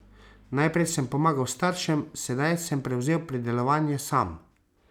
Najprej sem pomagal staršem, sedaj sem prevzel pridelovanje sam.